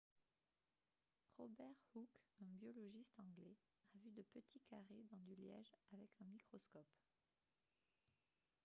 robert hooke un biologiste anglais a vu de petits carrés dans du liège avec un microscope